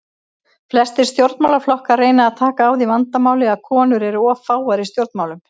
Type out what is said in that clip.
Flestir stjórnmálaflokkar reyna að taka á því vandamáli að konur eru of fáar í stjórnmálum.